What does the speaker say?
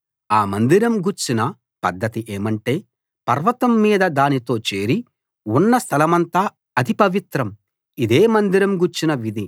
ఆ మందిరం గూర్చిన పద్ధతి ఏమంటే పర్వతం మీద దానితో చేరి ఉన్న స్థలమంతా అతి పవిత్రం ఇదే మందిరం గూర్చిన విధి